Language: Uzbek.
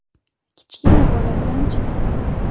Kichkina bola bilan chiqdim.